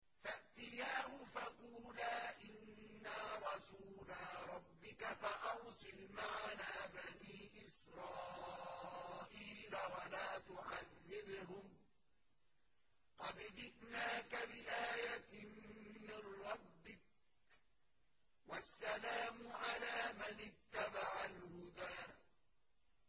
فَأْتِيَاهُ فَقُولَا إِنَّا رَسُولَا رَبِّكَ فَأَرْسِلْ مَعَنَا بَنِي إِسْرَائِيلَ وَلَا تُعَذِّبْهُمْ ۖ قَدْ جِئْنَاكَ بِآيَةٍ مِّن رَّبِّكَ ۖ وَالسَّلَامُ عَلَىٰ مَنِ اتَّبَعَ الْهُدَىٰ